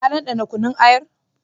Kin ɗanɗana kunun ayar?